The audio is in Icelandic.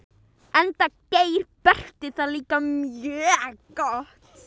Enda gerir Berti það líka mjög gott.